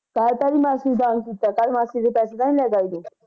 ਕਲ ਤਾ ਨੀ ਮਾਸੀ ਦਾਨ ਕੀਤਾ ਕਲ ਮਾਸੀ ਦੇ ਪੈਸੇ ਤਾ ਨੀ